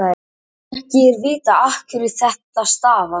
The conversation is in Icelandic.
ekki er vitað afhverju þetta stafar